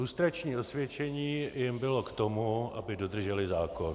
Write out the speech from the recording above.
Lustrační osvědčení jim bylo k tomu, aby dodrželi zákon.